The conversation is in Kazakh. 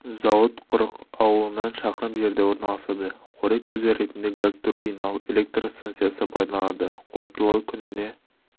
зауыт құрық ауылынан шақырым жерде орналасады қорек көзі ретінде газ-турбиналық электр станциясы пайдаланылады қуаттылығы күніне